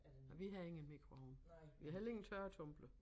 Nej vi har ingen mikroovn vi har heller ingen tørretumbler